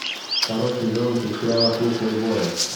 второй сезон сериала клуб плейбоя